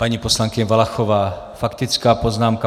Paní poslankyně Valachová, faktická poznámka.